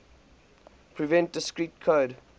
prevent discrete code